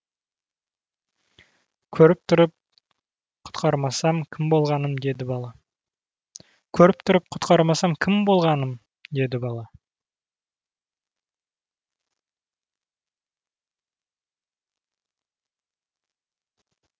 көріп тұрып құтқармасам кім болғаным деді бала